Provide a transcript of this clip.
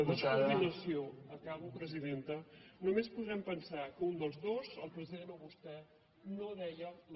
de descoordinació acabo presidenta només podrem pensar que un dels dos el president o vostè no deia la veritat